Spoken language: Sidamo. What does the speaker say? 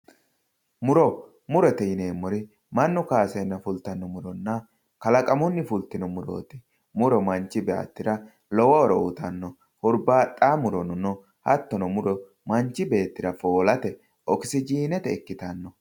Muro, murote yineemmori manchu kayisenna fulittano muronna kalaqamunni fulitino muroti, muro manchi beettira lowo horo uyittano, hurbaxayo murono no hattono muro manchi beettira foolate okisijinete (oxygen ) ikkittano